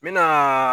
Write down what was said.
N me naa